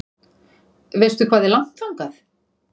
Veistu hvað er langt þangað?